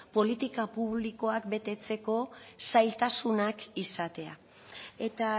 politika publikoak betetzeko zailtasunak izatea eta